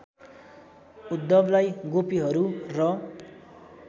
उद्धवलाई गोपीहरू र